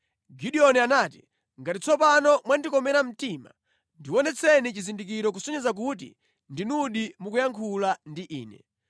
Gideoni anati, “Ngati tsopano mwandikomera mtima, ndionetseni chizindikiro kusonyeza kuti ndinudi mukuyankhula ndi ine.